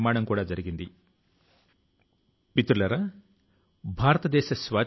అక్కడ వారు ఇలియా లోని ఉన్నత పాఠశాల లో చదువుకొంటున్నారు